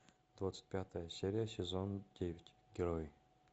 двадцать пятая серия сезон девять герои